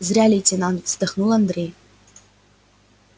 зря лейтенант вздохнул андрей